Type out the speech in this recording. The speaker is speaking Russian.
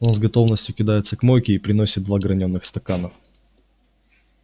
он с готовностью кидается к мойке и приносит два гранёных стакана